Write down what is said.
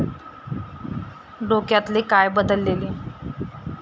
डोक्यातले काय बदलले?